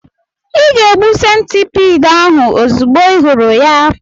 Ị ga-egbu centipede ahụ ozugbo ị hụrụ ya.